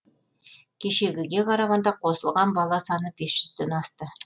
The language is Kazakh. кешегіге қарағанда қосылған бала саны бес жүзден асты